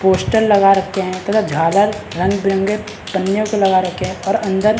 poster लगा रखे हैं तथा झालर रंग-बिरंगे पन्नियों के लगा रखे हैं और अंदर --